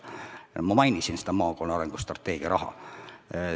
Ma mainisin maakonna arengustrateegia raha.